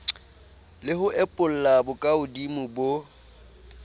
le ho epolla bokahodimo bo